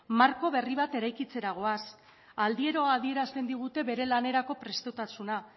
marko berri bat eraikitzera goaz aldiero adierazten digute bere lanerako prestutasuna